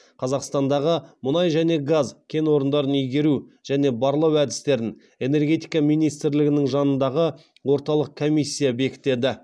қазақстандағы мұнай және газ кен орындарын игеру және барлау әдістерін энергетика министрлігінің жанындағы орталық комиссия бекітеді